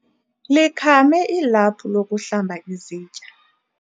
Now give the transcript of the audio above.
likhame ilaphu lokuhlamba izitya